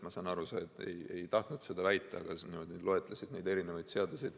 Ma saan küll aru, et sa ei tahtnud seda väita, aga sa loetlesid erinevaid seadusi.